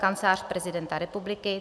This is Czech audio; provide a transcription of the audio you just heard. Kancelář prezidenta republiky